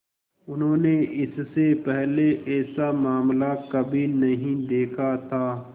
उन्होंने इससे पहले ऐसा मामला कभी नहीं देखा था